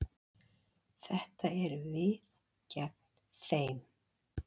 Þetta eru við gegn þeim.